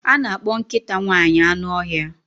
A na-akpọ nkịta nwanyị anụ ọhịa.